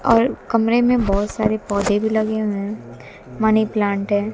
और कमरे में बहोत सारे पौधे भी लगे हुए हैं मनी प्लांट है।